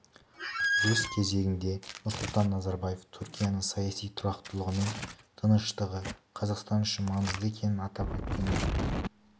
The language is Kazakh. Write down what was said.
өз кезегінде нұрсұлтан назарбаев түркияның саяси тұрақтылығы мен тыныштығы қазақстан үшін маңызды екенін атап өткен еді